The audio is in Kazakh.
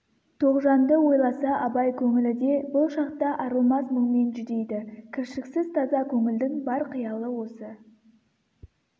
тоғжанды ойласа абай көңілі де бұл шақта арылмас мұңмен жүдейді кіршіксіз таза көңілдің бар қиялы осы